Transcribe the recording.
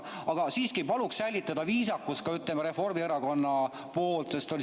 Aga siiski, palun säilitada viisakus, ütleme, ka Reformierakonna liikmetel.